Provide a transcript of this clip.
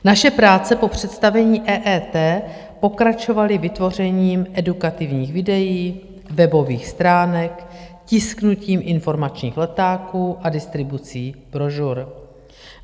Naše práce po představení EET pokračovaly vytvořením edukativních videí, webových stránek, tisknutím informačních letáků a distribucí brožur.